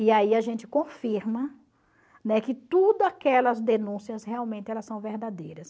E aí a gente confirma, né, que tudo aquelas denúncias realmente elas são verdadeiras.